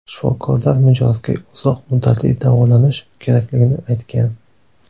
Shifokorlar mijozga uzoq muddatli davolanish kerakligini aytgan.